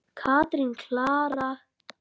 Katrín Klara.